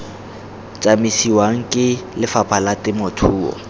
tsamisiwang ke lefapha la temothuo